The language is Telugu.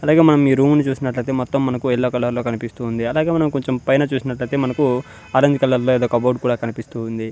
అలాగే మనం ఈ రూము ని చూసినట్లయితే మొత్తం మనకు యెల్లో కలర్ లో కనిపిస్తూ ఉంది అలాగే మనం కొంచెం పైన చూసినటైతే మనకు ఆరెంజ్ కలర్ లో ఏదో కప్ బోర్డ్ కూడా కనిపిస్తూ ఉంది.